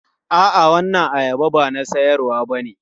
A'a, waɗannan ayaba ba na siyarwa bane.